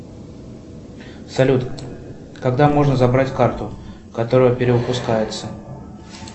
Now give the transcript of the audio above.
салют когда можно забрать карту которая перевыпускается